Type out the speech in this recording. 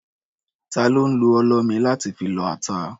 Ta ló ń lo ọlọ mi láti fi lọ ata?